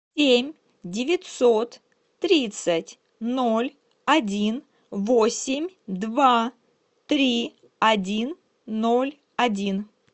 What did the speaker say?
семь девятьсот тридцать ноль один восемь два три один ноль один